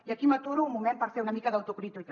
i aquí m’aturo un moment per fer una mica d’autocrítica